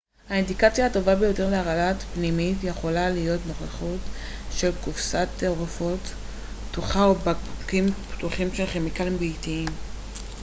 האינדיקציה הטובה ביותר להרעלה פנימית יכולה להיות נוכחות של קופסת תרופות פתוחה או או בקבוקים פתוחים של כימיקלים ביתיים